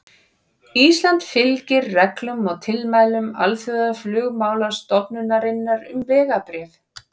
Ísland fylgir reglum og tilmælum Alþjóðaflugmálastofnunarinnar um vegabréf.